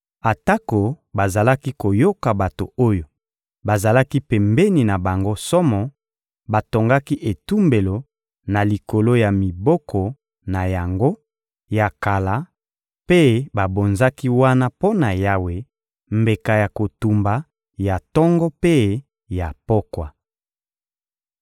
Atako bazalaki koyoka bato oyo bazalaki pembeni na bango somo, batongaki etumbelo na likolo ya miboko na yango ya kala mpe babonzaki wana mpo na Yawe mbeka ya kotumba ya tongo mpe ya pokwa.